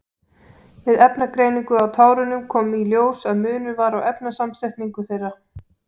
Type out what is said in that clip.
Við efnagreiningu á tárunum kom í ljós að munur var á efnasamsetningu þeirra.